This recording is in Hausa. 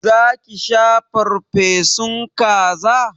Za ki sha farfesun kaza?